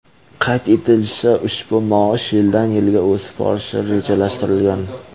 Qayd etilishicha, ushbu maosh yildan yilga o‘sib borishi rejalashtirilgan.